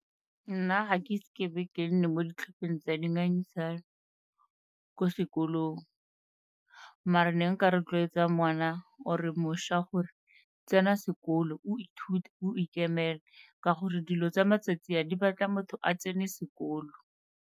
Nna ga ke ise ke be ke nne mo ditlhopheng tsa dingangisano ko sekolong mara ne nka rotloetsa ngwana or-e mošwa gore, tsena sekolo o ithute, o ikemele ka gore dilo tsa matsatsi a di batla motho a tsene sekolo.